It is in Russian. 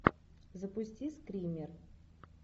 запусти стример